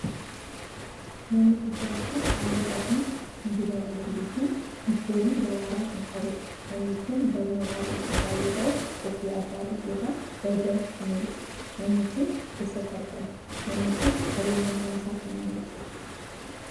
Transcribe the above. manni guddaa kun, haalluu adii kan dibamee jiru fi diikoorii daraaraa kan qabuu dha. Manni kun, galma baay'ee guddaa yoo ta'uu qophii addaatif yokin walgahiif kan oolu dha. Manni kun, eessatti argama? Manni kun ,qabeenyumman isaa kan eenyuti?